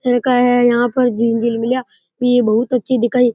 भी बहुत अच्छी दिखाई --